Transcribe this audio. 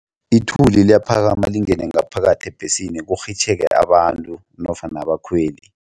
Ithuli liyaphakama lingene ngaphakathi ebhesini kurhitjheke abantu nofana abakhweli.